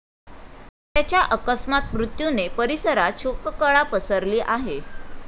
त्याच्या अकस्मात मृत्यूने परिसरात शोककळा पसरली आहे.